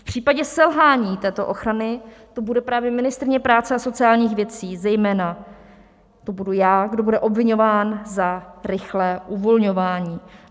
V případě selhání této ochrany to bude právě ministryně práce a sociálních věcí, zejména to budu já, kdo bude obviňován za rychlé uvolňování.